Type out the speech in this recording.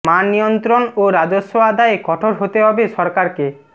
মান নিয়ন্ত্রণ ও রাজস্ব আদায়ে কঠোর হতে হবে সরকারকে